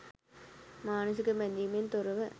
මානසික බැඳීමෙන් තොරව